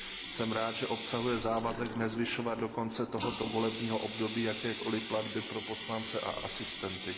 Jsem rád, že obsahuje závazek nezvyšovat do konce tohoto volebního období jakékoliv platby pro poslance a asistenty.